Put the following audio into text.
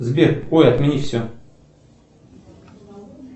сбер ой отменить все